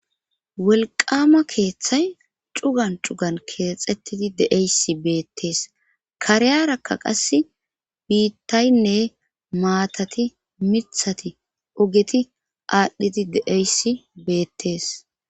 Welqama keeththay cugan cugan keexettidi deeysi beettees kareyarakka qass biittaynne maatati mithati ogeti aadhdhidi deeyssi beettees.